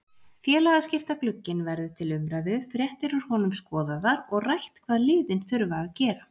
Félagaskiptaglugginn verður til umræðu, fréttir úr honum skoðaðar og rætt hvað liðin þurfa að gera.